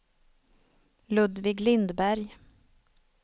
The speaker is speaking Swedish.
Ludvig Lindberg